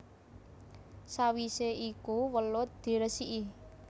Sawisé iku welut diresiki